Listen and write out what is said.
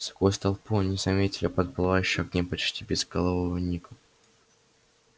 сквозь толпу они заметили подплывающего к ним почти безголового ника